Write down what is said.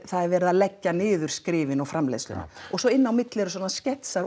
er verið að leggja niður skrifin og framleiðsluna og svo inn á milli eru svona